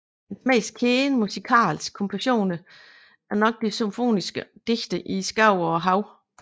Hans mest kendte musikalske kompositioner er nok de symfoniske digte I skoven og Havet